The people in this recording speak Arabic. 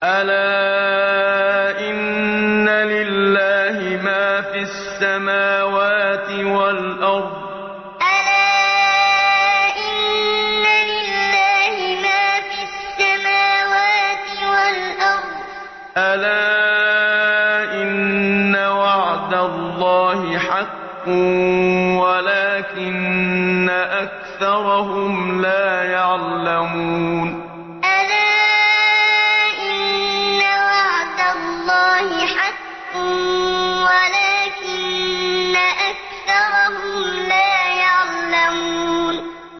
أَلَا إِنَّ لِلَّهِ مَا فِي السَّمَاوَاتِ وَالْأَرْضِ ۗ أَلَا إِنَّ وَعْدَ اللَّهِ حَقٌّ وَلَٰكِنَّ أَكْثَرَهُمْ لَا يَعْلَمُونَ أَلَا إِنَّ لِلَّهِ مَا فِي السَّمَاوَاتِ وَالْأَرْضِ ۗ أَلَا إِنَّ وَعْدَ اللَّهِ حَقٌّ وَلَٰكِنَّ أَكْثَرَهُمْ لَا يَعْلَمُونَ